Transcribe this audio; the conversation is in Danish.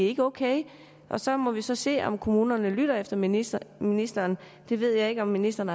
er okay så må vi så se om kommunerne lytter til ministeren ministeren det ved jeg ikke om ministeren